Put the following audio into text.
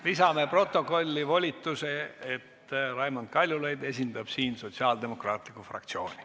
Lisame protokolli volituse, et Raimond Kaljulaid esindab siin sotsiaaldemokraatlikku fraktsiooni.